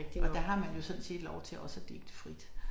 Og der har man jo sådan set lov til også at digte frit